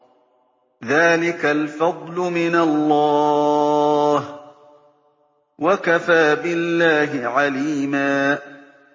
ذَٰلِكَ الْفَضْلُ مِنَ اللَّهِ ۚ وَكَفَىٰ بِاللَّهِ عَلِيمًا